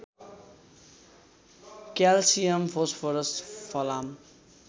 calcium phosphorus फलाम